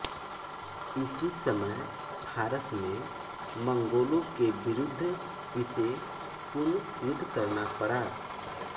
इसी समय फारस में मंगोंलों के विरुद्ध इसे पुन युद्ध करना पड़ा